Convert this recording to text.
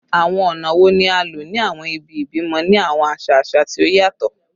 Awọn ọna wo ni a lo ni awọn ibi-ibimọ ni awọn aṣa aṣa ti o yatọ?